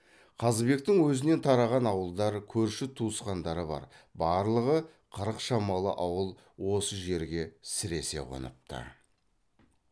қазыбектің өзінен тараған ауылдар көрші туысқандары бар барлығы қырық шамалы ауыл осы жерге сіресе қоныпты